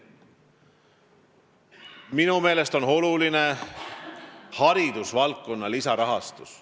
Minu meelest on oluline haridusvaldkonna lisarahastus.